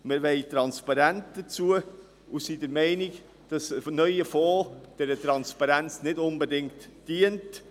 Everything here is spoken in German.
Wir wollen Transparenz und sind der Meinung, dass ein neuer Fonds dieser Transparenz nicht unbedingt dient.